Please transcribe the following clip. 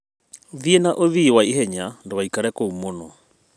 Thiĩ na ũthiĩ ihenya ndũgaikare kũu mũno